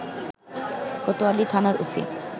কোতয়ালী থানার ওসি